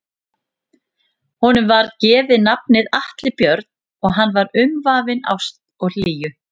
Honum var gefið nafnið Atli Björn og hann var umvafinn ást og hlýju.